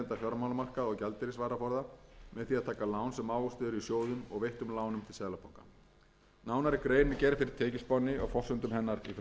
ávöxtuð eru í sjóðum og veittum lánum til seðlabanka nánari grein er gerð fyrir tekjuspánni og forsendum hennar